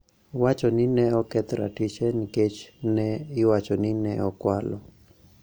Wacho ni ne oketh ratiche nikech ne iwacho ni ne okwalo